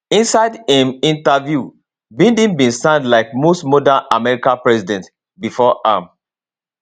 inside im interview biden bin sound like most modern american presidents bifor am